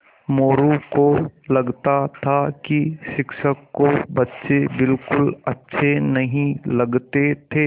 मोरू को लगता था कि शिक्षक को बच्चे बिलकुल अच्छे नहीं लगते थे